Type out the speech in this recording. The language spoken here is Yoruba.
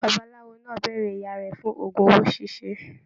Babaláwo náà béèrè ìyá rẹ fún ogún owó ṣiṣe.